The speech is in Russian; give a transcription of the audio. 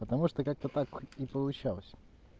потому что как-то так и получалось